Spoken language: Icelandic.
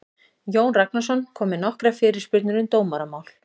Jón Ragnarsson kom með nokkrar fyrirspurnir um dómaramál.